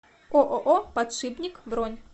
ооо подшипник бронь